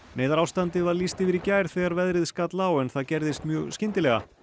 neyðarástandi var lýst yfir í gær þegar veðrið skall á en það gerðist mjög skyndilega